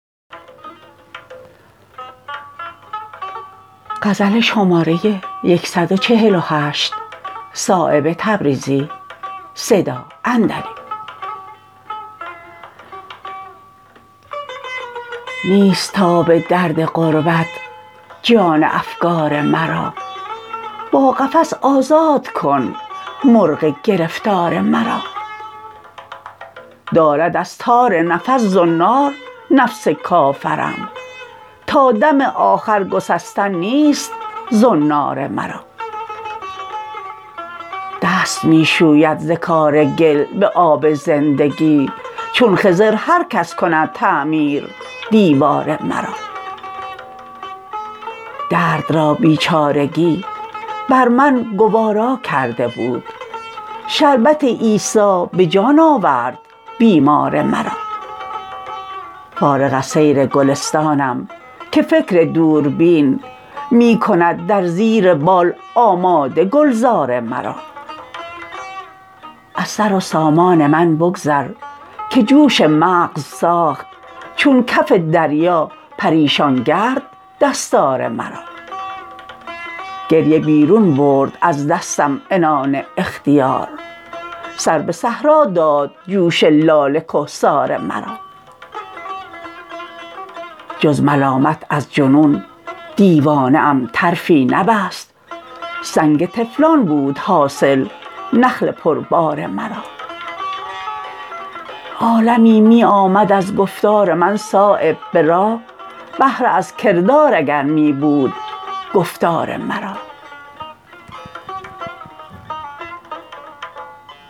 نیست تاب درد غربت جان افگار مرا با قفس آزاد کن مرغ گرفتار مرا دارد از تار نفس زنار نفس کافرم تا دم آخر گسستن نیست زنار مرا دست می شوید ز کار گل به آب زندگی چون خضر هر کس کند تعمیر دیوار مرا درد را بیچارگی بر من گوارا کرده بود شربت عیسی به جان آورد بیمار مرا فارغ از سیر گلستانم که فکر دوربین می کند در زیر بال آماده گلزار مرا از سر و سامان من بگذر که جوش مغز ساخت چون کف دریا پریشانگرد دستار مرا گریه بیرون برد از دستم عنان اختیار سر به صحرا داد جوش لاله کهسار مرا جز ملامت از جنون دیوانه ام طرفی نبست سنگ طفلان بود حاصل نخل پربار مرا عالمی می آمد از گفتار من صایب به راه بهره از کردار اگر می بود گفتار مرا